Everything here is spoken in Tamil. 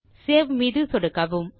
சேவ் மீது சொடுக்கவும்